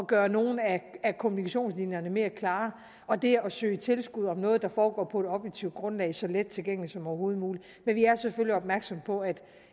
gøre nogle af kommunikationslinjerne mere klare og det at søge tilskud om noget der foregår på et objektivt grundlag så let tilgængeligt som overhovedet muligt men vi er selvfølgelig opmærksom på at